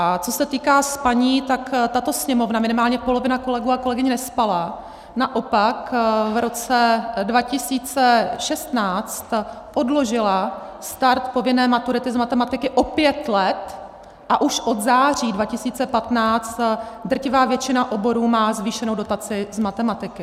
A co se týká spaní, tak tato Sněmovna, minimálně polovina kolegů a kolegyň nespala, naopak v roce 2016 odložila start povinné maturity z matematiky o pět let a už od září 2015 drtivá většina oborů má zvýšenou dotaci z matematiky.